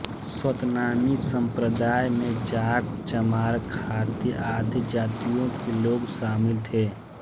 सतनामी सम्प्रदाय में जाट चमार खाती आदि जातियों के लोग शामिल थे